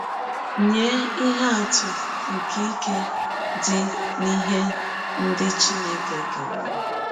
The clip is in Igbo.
Nye ihe atụ nke ike dị n’ihe ndị Chineke keworo .:-